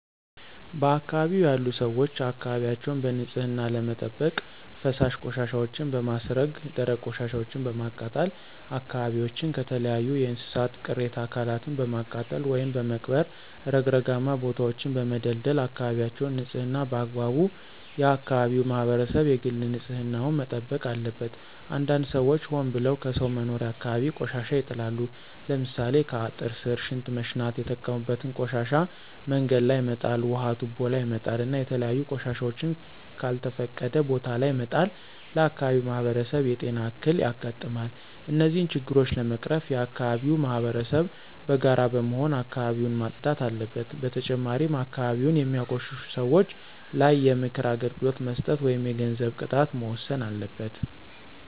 በአካባቢው ያሉ ሰዎች አካባቢያቸውን በንፅህና ለመጠበቅ ፈሳሽ ቆሻሻወችን በማስረገ ደረቅ ቆሻሻወችን በማቃጠል አካባቢዎችን ከተለያዩ የእንስሳት ቅሬተ አካላትን በማቃጠል ወይም በመቅበር ረግረጋማ ቦታወችን በመደልደል አካበቢወችን ንፅህና በአግባቡ የአከባቢው ማህበረሰብ የግል ንፅህና ዉን መጠበቅ አለበት። አንዳንድ ሰዎች ሆን ብለው ከሰው መኖሪያ አካባቢ ቆሻሻ ይጥላሉ። ለምሳሌ ከአጥር ስር ሽንት መሽናት የተጠቀሙበትን ቆሻሻ መንገድ ላይ መጣል ውሀ ቱቦ ላይ መጣል እና የተለያዩ ቆሻሻወችን ከልተፈቀደ ቦታ ለይ መጣል ለአካባቢው ማህበረሰብ የጤና እክል ያጋጥማል። እነዚህን ችግሮች ለመቀረፍ የአከባቢው ማህበረሰብ በጋራ በመሆን አካባቢውን ማፅዳት አለበት። በተጨማሪም አካባቢን የሚያቆሽሹ ሰወች ላይ የምክር አገልግሎት መስጠት ወይም የገንዘብ ቅጣት መወሰን አለበት።